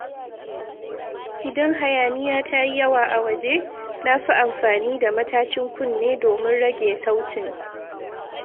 Idan hayaniya ta yi yawa a waje, na fi amfani da matashin kunne domin rage sautin.